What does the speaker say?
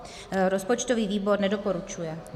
Rozpočtový výbor nedoporučuje.